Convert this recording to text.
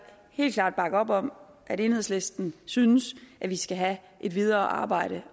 helt klart bakke op om at enhedslisten synes at vi skal have et videre arbejde